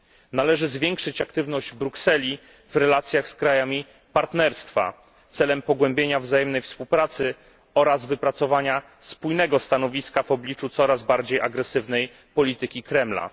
Należy zwiększyć aktywność Brukseli w relacjach z krajami Partnerstwa celem pogłębienia wzajemnej współpracy oraz wypracowania spójnego stanowiska w obliczu coraz bardziej agresywnej polityki Kremla.